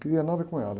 Queria nada com ela.